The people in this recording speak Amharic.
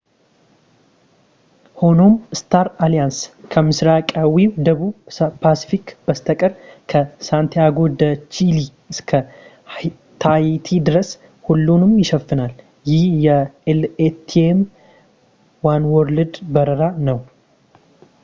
ሆኖም ፣ ስታር አሊያንስ ከምስራቃዊው ደቡብ ፓስፊክ በስተቀር ከ ሳንቲያጎ ዴ ቺሊ እስከ ታሂቲ ድረስ ሁሉንም ይሸፍናል ፣ ይህ የ latam ዋንዎርልድ በረራ ነው